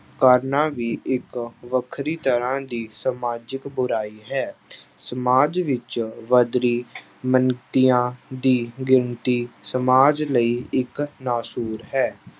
ਕਰਨਾ ਵੀ ਇੱਕ ਵੱਖਰੀ ਤਰ੍ਹਾਂ ਦੀ ਸਮਾਜਿਕ ਬੁਰਾਈ ਹੈ ਸਮਾਜ ਵਿੱਚ ਵੱਧ ਰਹੀ ਦੀ ਗਿਣਤੀ ਸਮਾਜ ਲਈ ਇੱਕ ਨਾਸੁਰ ਹੈ।